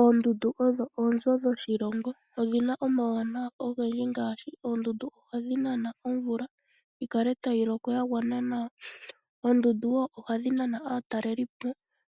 Oondundu odho onzo dhoshilongo . Odhina omawuwanawa ogendji ngaashi, oondundu ohadhi nana omvula yikale tayi loko yagwana nawa . Oondundu ohadhi nana aataleli